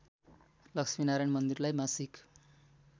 लक्ष्मीनारायण मन्दिरलाई मासिक